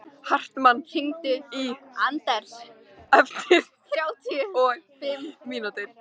Hartmann, hringdu í Anders eftir þrjátíu og fimm mínútur.